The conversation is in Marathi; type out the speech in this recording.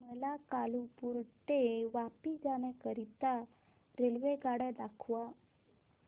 मला कालुपुर ते वापी जाण्या करीता रेल्वेगाड्या दाखवा